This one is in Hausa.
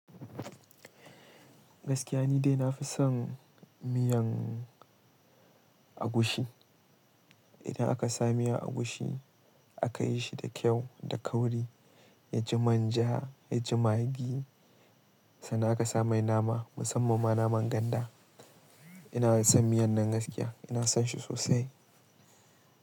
Gaskiya ni dai na fi son miyan agushi. Idan aka sa miyan agushi aka yi shi da kyau da kauri, ya ji manja, ya ji magi, sannan aka sa mai nama musamman ma naman ganda. Ina son miyan nan gaskiya, ina son shi sosai.